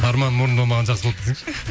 арманым орындалмағаны жақсы болды десеңші